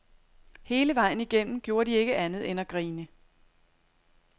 Hele vejen igennem gjorde de ikke andet end at grine.